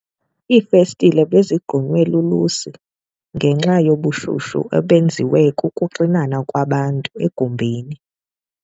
Iifestile bezigqunywe lulusi ngenxa yobushushu obenziwa kukuxinana kwabantu egumbini.